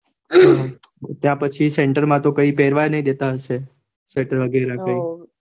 ત્યાં પછી center માં તો કઈ પેરવાજ નાઈ દેતા હશે સ્વેટર વગેરે કઈ હૌ